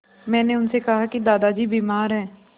मैंने उनसे कहा कि दादाजी बीमार हैं